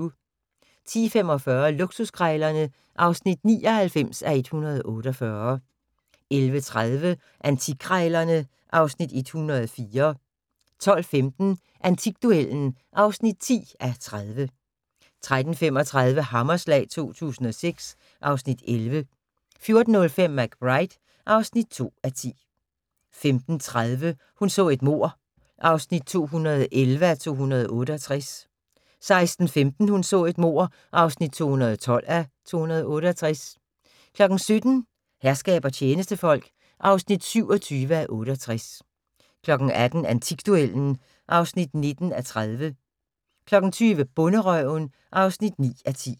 10:45: Luksuskrejlerne (99:148) 11:30: Antikkrejlerne (Afs. 104) 12:15: Antikduellen (10:30) 13:35: Hammerslag 2006 (Afs. 11) 14:05: McBride (2:10) 15:30: Hun så et mord (211:268) 16:15: Hun så et mord (212:268) 17:00: Herskab og tjenestefolk (27:68) 18:00: Antikduellen (19:30) 20:00: Bonderøven (9:10)